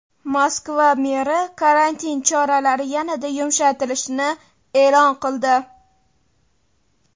Moskva meri karantin choralari yanada yumshatilishini e’lon qildi.